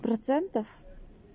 процентов